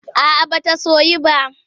A'a ba ta soyu ba.